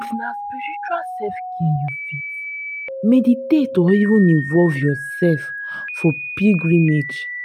if na spiritual selfcare you fit meditate or even involve your self for pilgrimage